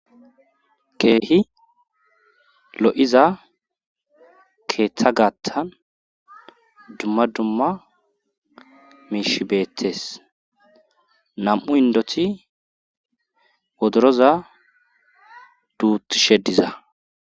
Keehi lo7iza keeththa gaattan dumma dumma miishshi beettes nam7u indoti wodoroza duutishe diza